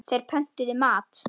Þeir pöntuðu mat.